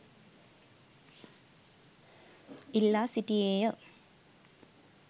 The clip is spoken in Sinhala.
ඉල්ලා සිටියේ ය.